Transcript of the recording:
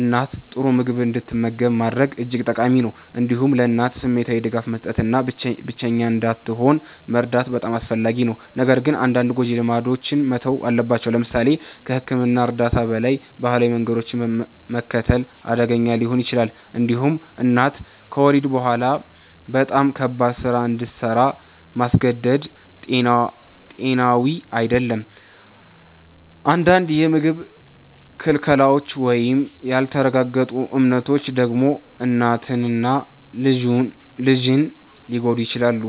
እናት ጥሩ ምግብ እንድትመገብ ማድረግ እጅግ ጠቃሚ ነው። እንዲሁም ለእናት ስሜታዊ ድጋፍ መስጠት እና ብቸኛ እንዳትሆን መርዳት በጣም አስፈላጊ ነው። ነገር ግን አንዳንድ ጎጂ ልማዶች መተው አለባቸው። ለምሳሌ ከሕክምና እርዳታ በላይ ባህላዊ መንገዶችን መከተል አደገኛ ሊሆን ይችላል። እንዲሁም እናት ከወሊድ በኋላ በጣም ከባድ ስራ እንድሰራ ማስገደድ ጤናዊ አይደለም። አንዳንድ የምግብ ክልከላዎች ወይም ያልተረጋገጡ እምነቶች ደግሞ እናትን እና ልጅን ሊጎዱ ይችላሉ።